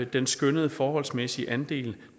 den skønnede forholdsmæssige andel